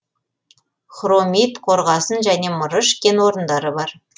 хромит қорғасын және мырыш кен орындары бар